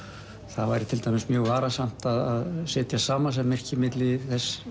það væri til dæmis mjög varasamt að setja samasemmerki milli